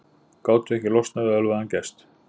Gátu ekki losnað við ölvaðan gest